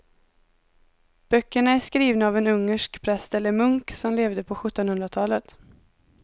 Böckerna är skrivna av en ungersk präst eller munk som levde på sjuttonhundratalet.